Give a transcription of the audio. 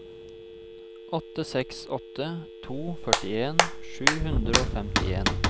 åtte seks åtte to førtien sju hundre og femtien